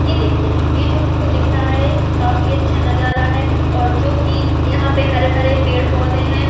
ये देखिए ये जो हम को दिख रहा है काफी अच्छा नजारा है और जो कि यहा पे हरे भरे पेड़ पौधे है।